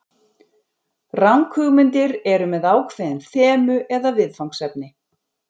Ranghugmyndir eru með ákveðin þemu eða viðfangsefni.